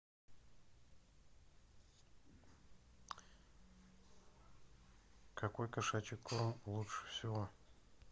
какой кошачий корм лучше всего